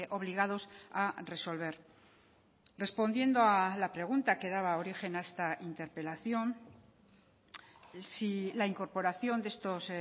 obligados a resolver respondiendo a la pregunta que daba origen a esta interpelación si la incorporación de estos